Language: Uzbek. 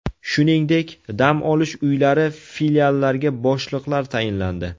Shuningdek, dam olish uylari filiallariga boshliqlar tayinlandi.